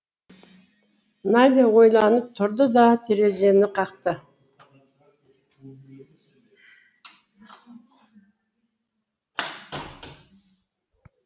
надя ойланып тұрды да терезені қақты